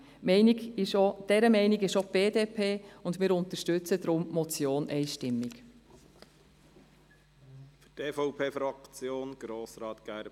Dieser Meinung ist auch die BDP, und wir unterstützen die Motion deshalb einstimmig.